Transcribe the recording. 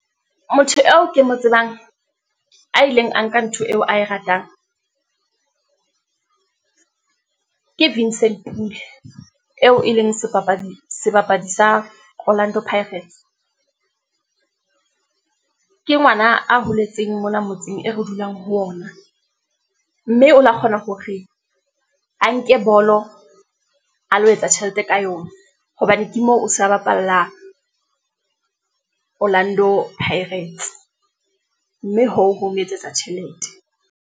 Motho eo ke mo tsebang a ileng a nka ntho eo ae ratang , ke Vincent Pule eo e leng sebapadi sa orlando pirates . Ke ke ngwana a holetseng mona motseng e re dulang ho wona, mme o lo kgona hore a nke bolo a lo etsa tjhelete ka yona, hobane ke moo o sa bapalla orlando pirates, mme hoo, ho mo etsetsa tjhelete.